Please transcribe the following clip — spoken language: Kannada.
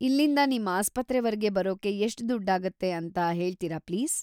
ಇಲ್ಲಿಂದ ನಿಮ್ ಆಸ್ಪತ್ರೆವರೆಗೆ ಬರೋಕೆ ಎಷ್ಟ್‌ ದುಡ್ಡಾಗುತ್ತೆ ಅಂತ ಹೇಳ್ತೀರಾ ಪ್ಲೀಸ್‌?